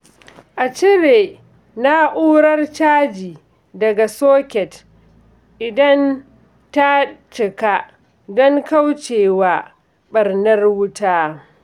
A cire na’urar caji daga soket idan ta cika don kauce wa ɓarnar wuta.